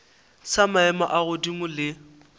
sa maemo a godimo le